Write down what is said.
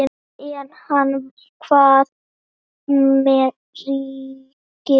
En hvað með ríkið?